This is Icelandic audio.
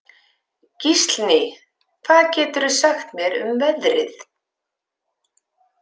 Gíslný, hvað geturðu sagt mér um veðrið?